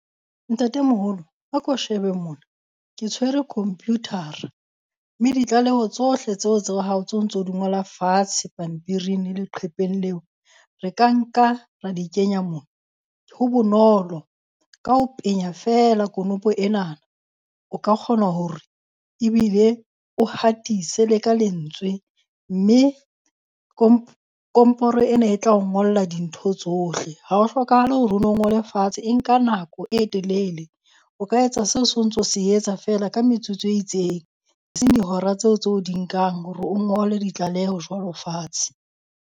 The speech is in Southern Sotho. Ntatemoholo a ko shebe mona ke tshwere computer-ra, mme ditlaleho tsohle tseo tsa o hao tso ntso di ngola fatshe pampiring le leqhepeng leo. Re ka nka ra di kenya mo. Ho bonolo. Ka ho penya feela konopo enana o ka kgona hore ebile o hatise le ka lentswe, mme komporo ena e tla o ngolla dintho tsohle. Ha ho hlokahale hore o no ngole fatshe e nka nako e telele. O ka etsa seo so ntso se etsa feela ka metsotso e itseng, e seng dihora tseo tse o di nkang hore o ngole ditlaleho jwalo fatshe.